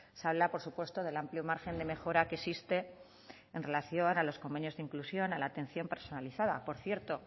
se habla por supuesto del amplio margen de mejora que existe en relación a los convenios de inclusión a la atención personalizada por cierto